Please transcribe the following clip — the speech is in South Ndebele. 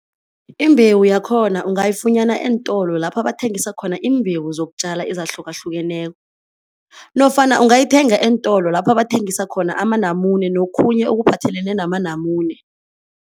Imbewu yakhona ungayifunyana eentolo lapha bathengisa khona iimbewu zokutjala ezahlukahlukeneko nofana ungayithenga eentolo lapha bathengisa khona amanamune nokhunye okuphathelene namanamune.